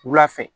Wula fɛ